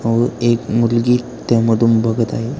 व एक मुलगी त्या मधून बघत आहे.